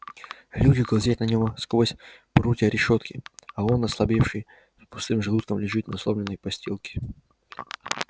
люди глазеют на него сквозь прутья решётки а он ослабевший с пустым желудком лежит на сломленной подстилке